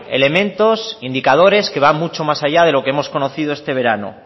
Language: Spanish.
elementos indicadores que van mucho más allá de lo que hemos conocido este verano